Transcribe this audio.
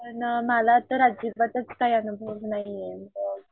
पण मला तर अजिबातच काय अनुभव नाहीये मग